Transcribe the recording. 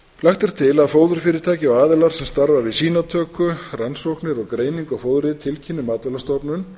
er til að fóðurfyrirtæki og aðilar sem starfa við sýnatöku rannsóknir og greiningu á fóðri tilkynni matvælastofnun